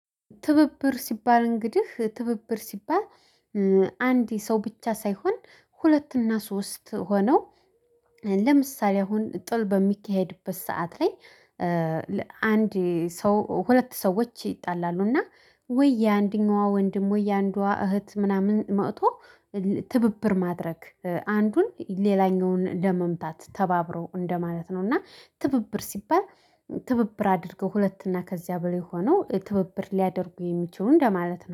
ትብብር ሲባል እንግዲህ ትብብር ሲባል አንድ ሰው ብቻ ሳይሆን ሁለት እና ሶስት ሆነው ለምሳሌ አሁን ጥል በሚካሄድበት ሰዓት ላይ አንድ ሰው ሁለት ሰዎች ይጣላሉ እና ወይ የአንደኛዋ ወንድም ወይ የአንዷ እህት ምናምን መጥቶ ትብብር ማድረግ አንዱን ሌላኛውን ለመምታት ተባብሮ እንደማለት ነው። እና ትብብር ሲባል ትብብር አድርገው ሁለት እና ከዚያ በላይ ሆኖ ትብብር ሊያደርጉ የሚችሉ እንደማለት ነው